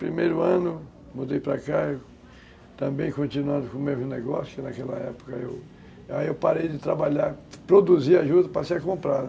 Primeiro ano, mudei para cá, eu, também continuando com o mesmo negócio, naquela época eu... Aí eu parei de trabalhar, produzi ajuda, passei a comprar, né?